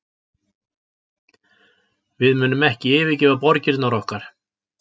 Við munum ekki yfirgefa borgirnar okkar